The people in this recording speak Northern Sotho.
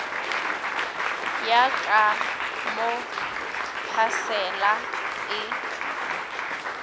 ya ka mo phasela e